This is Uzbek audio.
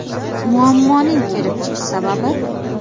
Muammoning kelib chiqish sababi?